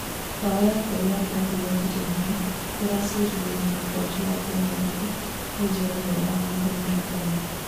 Mbaũ ya kerĩ ya kĩrabu gĩa Tottenham ĩracuririo na mũkwanjũ wa penarti nĩ njorua yao Henry Kane